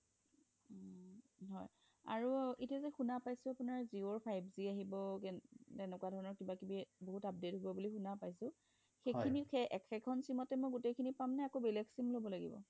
আৰু এতিয়া যে শুনা পাইছোঁ জিঅ' ৰ five G আহিব তেনেকুৱা ধৰণৰ বহুত update আহিব বুলি শুনা পাইছোঁ সেইখিনি মই একেখন sim তে মই গোটেই খিনি পাম নে বেলেগ এখন sim লব লাগিব